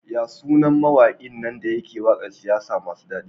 Yasu nan mawakin nan dayake waƙar siyasa masu dadi?